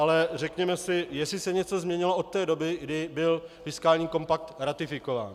Ale řekněme si, jestli se něco změnilo od té doby, kdy byl fiskální kompakt ratifikován.